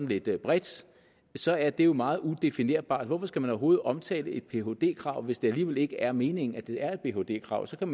lidt bredt så er det jo meget udefinerbart hvorfor skal man overhovedet omtale et phd krav hvis det alligevel ikke er meningen at det er et phd krav så kan